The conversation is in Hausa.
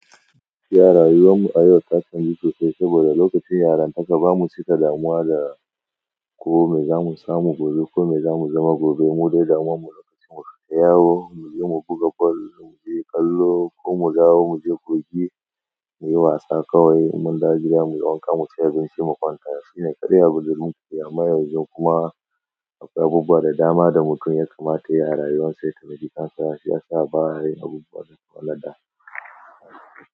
Gaskiya rayuwar mu a yau ta canzu sosai, saboda lokacin yarantaka ba mu cika damuwa da ko me zamu samu gobe ko me zamu zama gobe. Mu dai damuwan mu lokacin mu tafi yawo, muje mu buga kwallo, muje kallo ko mu zawo muje kogi, muyi wasa kawai in mun dawo gida mu yi wanka, mu ci abinci mu kwanta. Shine ƙaɗai abin da zamu yi amma yanzu kuma abubuwa da dama da mutum ya kamata yayi a rayuwarsa ya taimaki kansa shi ya sa ba ya yin abubuwa waɗanda.